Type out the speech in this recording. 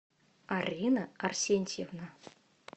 арина арсентьевна